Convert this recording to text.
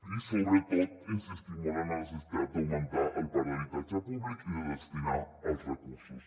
i sobretot insistir molt en la necessitat d’augmentar el parc d’habitatge públic i de destinar hi els recursos